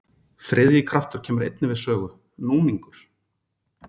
Þriðji kraftur kemur einnig við sögu, núningur.